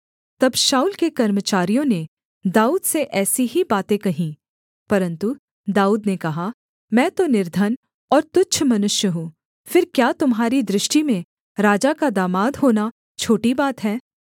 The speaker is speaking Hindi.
तब शाऊल के कर्मचारियों ने दाऊद से ऐसी ही बातें कहीं परन्तु दाऊद ने कहा मैं तो निर्धन और तुच्छ मनुष्य हूँ फिर क्या तुम्हारी दृष्टि में राजा का दामाद होना छोटी बात है